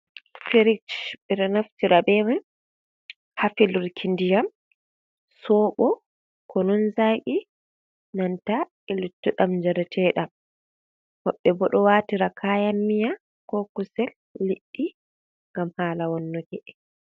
Firij ɓe ɗo naftira be man ha pelurki ndiyam sobo, ko kunun zaqi, nanta e luttu jaratee ɗam, woɓɓe bo ɗo watira kayan miya, ko kusel, liɗɗi, ngam hala wonnuki e.